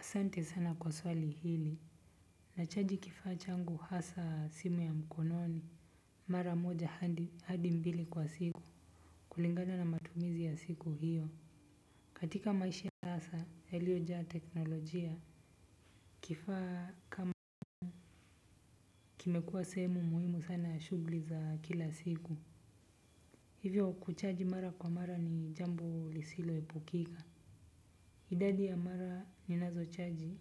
Asante sana kwa swali hili. Nachaji kifaa changu hasaa simu ya mkononi. Mara moja hadi mbili kwa siku. Kulingana na matumizi ya siku hiyo. Katika maishi ya sasa yaliyojaa teknolojia kifaa kama. Kimekuwa sehemu muhimu sana ya shughuli za kila siku. Hivyo kuchaji mara kwa mara ni jambo lisiloepukika. Idadi ya mara ninazochaji.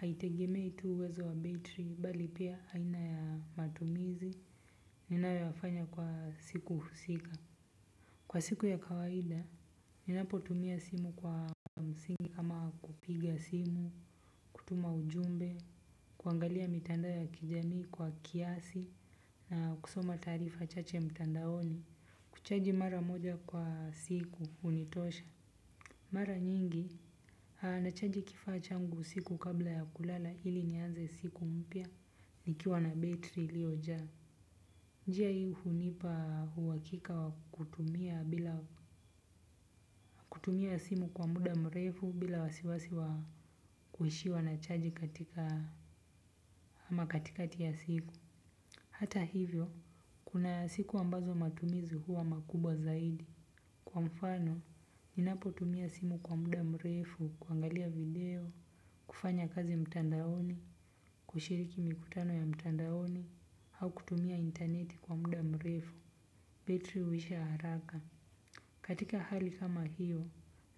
Haitegemei tu uwezo wa betri bali pia aina ya matumizi ninayoyafanya kwa siku husika. Kwa siku ya kawaida, ninapotumia simu kwa msingi kama kupiga simu, kutuma ujumbe, kuangalia mitandao ya kijamii kwa kiasi na kusoma taarifa chache mitandaoni kuchaji mara moja kwa siku hunitosha. Mara nyingi, nachaji kifaa changu usiku kabla ya kulala ili nianze siku mpya, nikiwa na betri iliojaa. Njia hii hunipa uhakika wa kutumia bila kutumia simu kwa muda mrefu bila wasiwasi wa kuishiwa na chaji katika ama katikati ya siku hata hivyo, kuna siku ambazo matumizi huwa makubwa zaidi. Kwa mfano, ninapotumia simu kwa muda mrefu, kuangalia video, kufanya kazi mtandaoni, kushiriki mikutano ya mtandaoni au kutumia intaneti kwa muda mrefu, betri huisha haraka. Katika hali kama hiyo,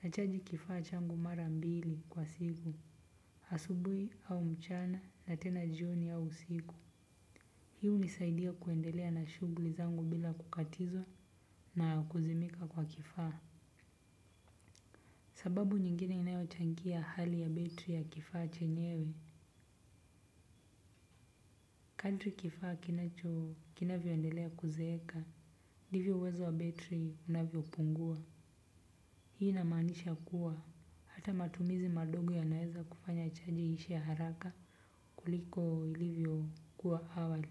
nachaji kifaa changu mara mbili kwa siku, asubuhi au mchana na tena jioni au usiku. Hii hunisaidia kuendelea na shughuli zangu bila kukatizwa na kuzimika kwa kifaa. Sababu nyingine inayochangia hali ya betri ya kifaa chenyewe, kadri kifaa kinacho, kinavyoendelea kuzeeka, ndivyo uwezo wa betri unavyopungua. Hii inamaanisha kuwa, hata matumizi madogo yanaweza kufanya chaji iishe haraka kuliko ilivyokuwa awali.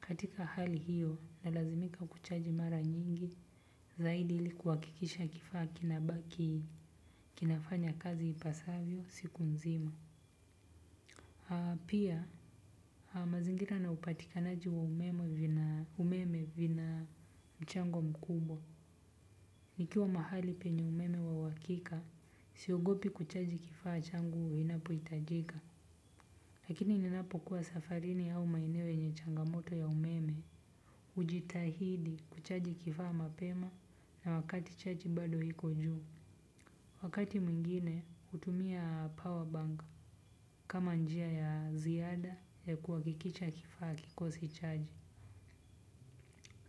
Katika hali hiyo, nalazimika kuchaji mara nyingi, zaidi ili kuhakikisha kifaa kinabaki kinafanya kazi ipasavyo siku nzima. Pia mazingira na upatikanaji wa umeme vina mchango mkubwa. Nikiwa mahali penye umeme wa uhakika siogopi kuchaji kifaa changu vinapohitajika. Lakini ninapokuwa safarini au maeneo yenye changamoto ya umeme hujitahidi kuchaji kifaa mapema na wakati chaji bado iko juu. Wakati mwingine hutumia power bank kama njia ya ziada ya kuhakikicha kifaa hakikosi chaji.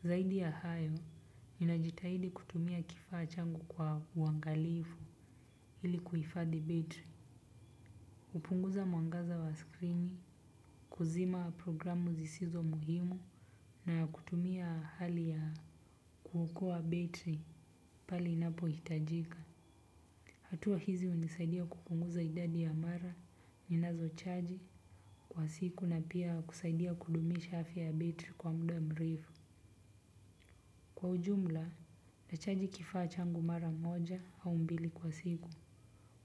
Zaidi ya hayo ninajitahidi kutumia kifaa changu kwa uangalifu ili kuhifadhi battery. Hupunguza mwangaza wa skrini, kuzima programu zisizo muhimu na kutumia hali ya kuokoa betri pale inapohitajika. Hatua hizi hunisaidia kupunguza idadi ya mara ninazochaji kwa siku na pia kusaidia kudumisha afya betri kwa muda mrefu. Kwa ujumla, nachaji kifaa changu mara moja au mbili kwa siku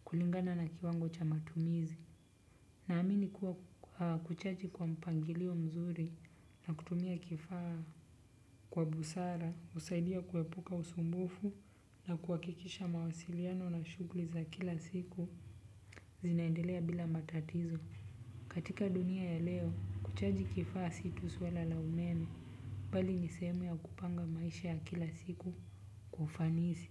kulingana na kiwango cha matumizi naamini kuwa kuchaji kwa mpangilio mzuri na kutumia kifaa kwa busara, husaidia kuepuka usumbufu na kuhakikisha mawasiliano na shughuli za kila siku zinaendelea bila matatizo. Katika dunia ya leo kuchaji kifaa si tu swala la umeme bali ni sehemu ya kupanga maisha ya kila siku kwa ufanisi.